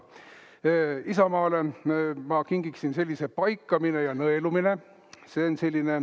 Isamaale ma kingiksin sellise raamatu "Paikame ja nõelume".